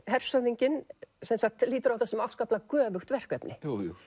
hershöfðinginn lítur á þetta sem afskaplega göfugt verkefni